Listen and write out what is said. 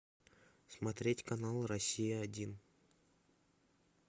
смотреть канал россия один